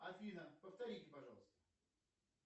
афина повторите пожалуйста